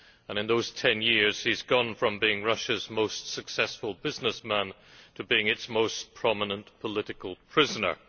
In those ten years he has gone from being Russia's most successful businessman to being its most prominent political prisoner.